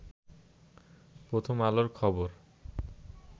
প্রথম আলোর খবর